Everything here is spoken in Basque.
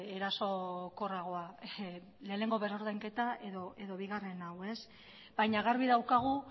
erasokorragoa lehenengo berrordainketa edo bigarren hau baina garbi daukagu